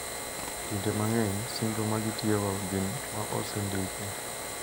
Kinde mang`eny singo magitiyogo gin ma osendiki.